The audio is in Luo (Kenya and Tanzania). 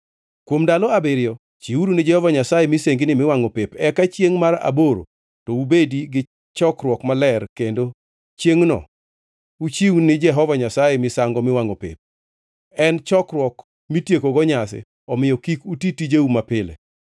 Kuom ndalo abiriyo chiwuru ni Jehova Nyasaye misengini miwangʼo pep, eka chiengʼ mar aboro to ubedi gi chokruok maler kendo chiengʼno uchiwni Jehova Nyasaye misango miwangʼo pep. En chokruok mitiekogo nyasi, omiyo kik uti tijeu mapile.